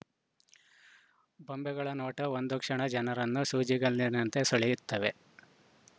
ಬೊಂಬೆಗಳ ನೋಟ ಒಂದು ಕ್ಷಣ ಜನರನ್ನು ಸೂಜಿಗಲ್ಲಿನಂತೆ ಸೆಳೆಯುತ್ತವೆ